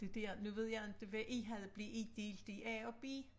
Det der nu ved jeg inte hvad I havde blev I delt i a og b?